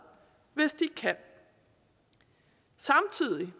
hvis de kan samtidig